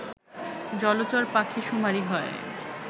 জলচর পাখি শুমারি হয়